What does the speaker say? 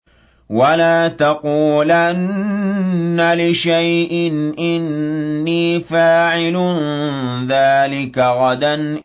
وَلَا تَقُولَنَّ لِشَيْءٍ إِنِّي فَاعِلٌ ذَٰلِكَ غَدًا